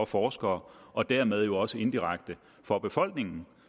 forskere og dermed jo også indirekte for befolkningen